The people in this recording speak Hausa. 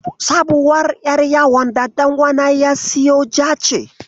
Sabuwar ƴar yawon da ɗan uwana ya siyo ja ce.